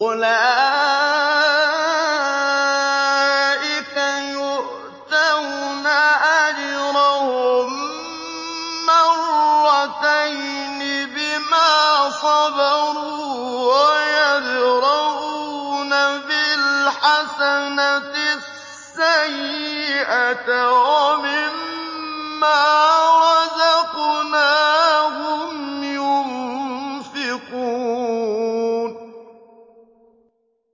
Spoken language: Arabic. أُولَٰئِكَ يُؤْتَوْنَ أَجْرَهُم مَّرَّتَيْنِ بِمَا صَبَرُوا وَيَدْرَءُونَ بِالْحَسَنَةِ السَّيِّئَةَ وَمِمَّا رَزَقْنَاهُمْ يُنفِقُونَ